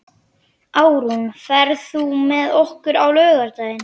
Árún, ferð þú með okkur á laugardaginn?